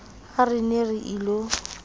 ha re ne re ilo